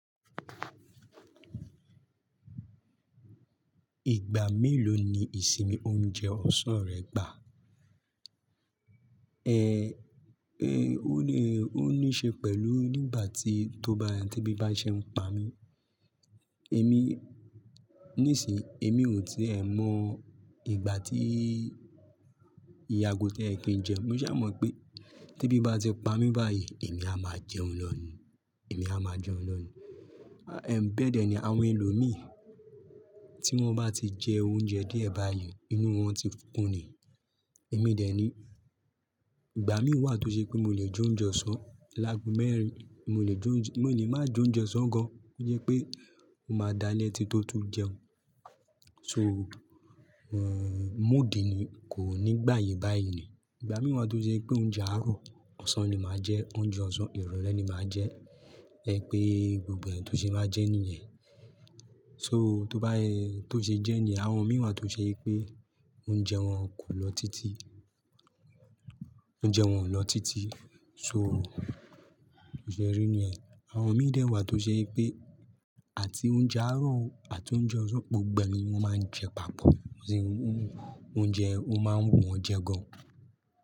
Ìgbà méló ni ìsinmi oúnjẹ ọ̀sán rẹ gbà? Ó ní, ó ní ṣe pẹ̀lú nígbà tí, tó bá, tèbí bá ṣe ń pa mí. Èmi, ní sìí, èmi ò tí è mọ ìgbà tí ìye àgọ́ tó ye kí ń jẹun, mo sá mọ̀ pé tèbí bá ti pa mí báyìí, èmi a máa jẹun lọ́ nìí, èmi a máa jẹun lọ́ nìí. Ẹ̀ ń bẹ́ẹ̀ dẹ́ ni àwọn ẹlòmíì tí wọ́n bá ti jẹ oúnjẹ díẹ̀ báyìí inú wọn ti kun ni. Èmi ò dè ni, ìgbà mí wà tó se pé mó lè je ounje osàn. Láàgò mẹ́rin mo le jó jẹ, mo lè má jọ̀ je ó sán gan. Ó yẹ pé o máa dá lẹ́ ti tó tún jẹun. So, moòdi ni kò ní gbà yìí báyìí ni. Ìgbà mí wà tó ṣe pé oúnjẹ àárọ̀ ọ̀sán ni máa jẹ, oúnjẹ ọ̀sán ìrọ̀lẹ́ ni màá jẹ. Ẹ pé gbogbo ẹ̀ tó ṣe máa jẹ níyẹn. So tó bá, tó ṣe jẹ́ ní yen, àwọn mi wà tó ṣe pé oúnjẹ wọn kò lọ títí, oúnjẹ wọn ò lọ títí. So, o ṣe ẹ rí níyẹn. Àwọn mi dè wà tó ṣe pé àti oúnjẹ àárọ̀ àti oúnjẹ ọ̀sán gbogbo ẹ ni wọn máa ń jẹ papọ̀. Wọ́n sì ń, oúnjẹ o máa ń wù wọ́n jẹ gan.